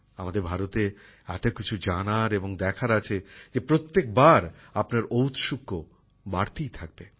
আমাদের ভারতে এত কিছু জানার এবং দেখার আছে যে প্রত্যেকবার আপনার ঔৎসুক্য বাড়তেই থাকবে